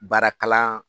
Baara kalan